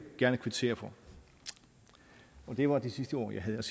gerne kvittere for og det var det sidste ord jeg havde